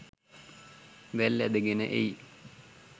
වැල් ඇදගෙන එයි.